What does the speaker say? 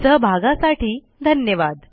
सहभागासाठी धन्यवाद